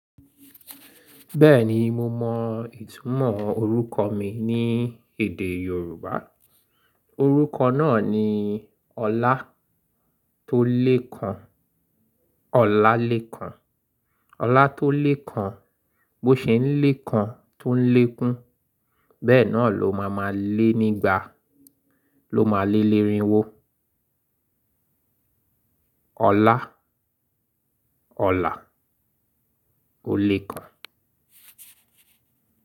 Bẹ́ẹ̀ni mo mọ ìtúmọ̀ orúkọ mi ní èdè Yorùbá. Orúkọ náà ni Ọlá tó le kan. Ọlá le kan. Ọlá tó le kan. Bó ṣe ń le kan tó ń lé e kún, bẹ́ẹ̀ náà ló máa ma lé nígbà, ló máa lé lerinwo. Ọlá, ọlá, ó le kan.